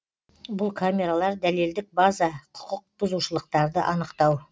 бұл камералар дәлелдік база құқық бұзушылықтарды анықтау